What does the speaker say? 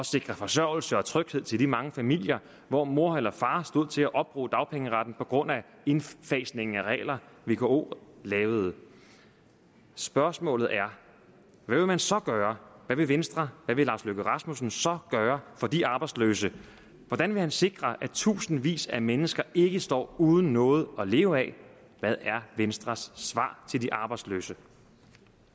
sikre forsørgelse og tryghed til de mange familier hvor mor eller far stod til at opbruge dagpengeretten på grund af indfasningen af regler vko lavede spørgsmålet er hvad vil man så gøre hvad vil venstre hvad vil herre lars løkke rasmussen så gøre for de arbejdsløse hvordan vil han sikre at tusindvis af mennesker ikke står uden noget at leve af hvad er venstres svar til de arbejdsløse